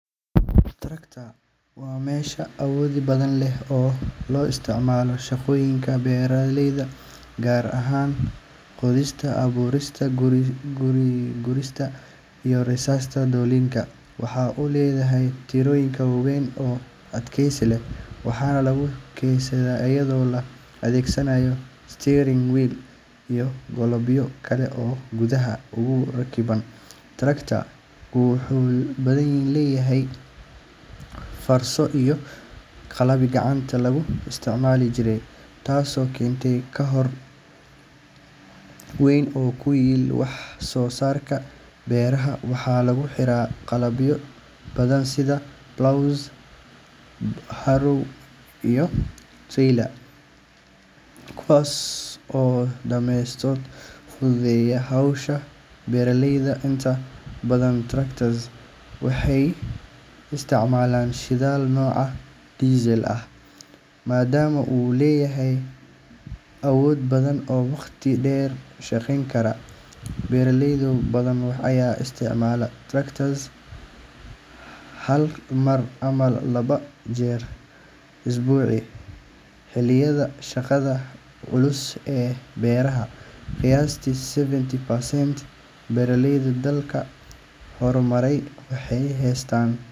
Tractor waa mashiin awood badan leh oo loo isticmaalo shaqooyinka beeralayda, gaar ahaan qodista, abuurista, gurista, iyo rarista dalagyada. Waxa uu leeyahay taayirro waaweyn oo adkaysi leh, waxaana lagu kaxeeyaa iyadoo la adeegsanayo steering wheel iyo qalabyo kale oo gudaha uga rakiban. Tractor-ku wuxuu beddelay fardo iyo qalabkii gacanta lagu isticmaali jiray, taasoo keentay koror weyn oo ku yimid wax-soo-saarka beeraha. Waxaa lagu xiraa qalabyo badan sida plough, harrow, iyo trailer, kuwaas oo dhammaantood fududeeya hawsha beeraleyda. Inta badan tractors waxay isticmaalaan shidaal nooca diesel ah, maadaama uu leeyahay awood badan oo waqti dheer shaqayn kara. Beeraley badan ayaa isticmaala tractor hal mar ama laba jeer usbuucii xilliyada shaqada culus ee beeraha. Qiyaastii seventy percent beeraleyda dalalka horumaray waxay haystaan.